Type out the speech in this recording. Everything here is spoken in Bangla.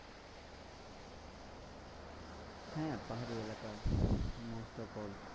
হ্যাঁ পাহাড়ি এলাকা। most of all